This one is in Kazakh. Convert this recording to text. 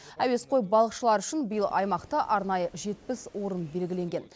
әуесқой балықшылар үшін биыл аймақта арнайы жетпіс орын белгіленген